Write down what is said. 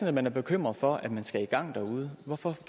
at man er bekymret for at man skal i gang derude hvorfor